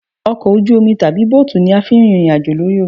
Ọkọ ojú omi tàbí bóòtù ni a fi ń rìnrìn àjò lórí omi